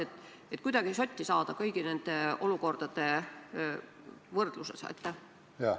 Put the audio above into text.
Tahaks kuidagi sotti saada kõigi nende olukordade võrdluses.